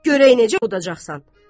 Görək necə ovudacaqsan.